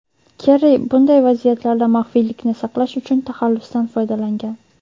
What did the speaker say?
Kerri bunday vaziyatlarda maxfiylikni saqlash uchun taxallusdan foydalangan.